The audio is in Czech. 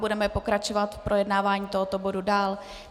Budeme pokračovat v projednávání tohoto bodu dál.